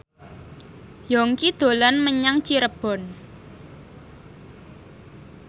Yongki dolan menyang Cirebon